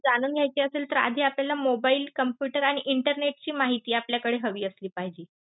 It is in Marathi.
जाणून घ्यायचे असेल तर आधी आपल्याला mobile, computer आणि internet ची माहिती आपल्याकडे हवी असली पाहिजे.